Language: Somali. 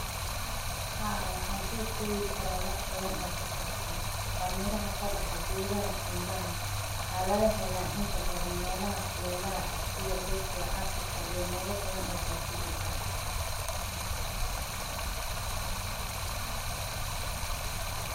Haa wankushegi kara. Waa miraha kabaha gedaha qunbaha oo kabaha melaha kulelaha sidha Asia, Afrika iyo mela badan oo pasifiga ah .